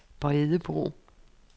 Bredebro